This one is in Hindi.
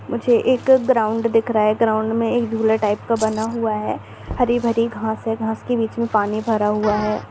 मुझे एक ग्राउंड दिख रहा है ग्राउंड में एक झूला टाइप का बना हुआ है हरी-भरी घांस है घांस के बीच में पानी भरा हुआ है।